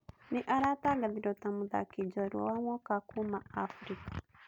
Nĩ aratangathirwo ta Mũthaki jorua wa mwaka kuuma Afrika.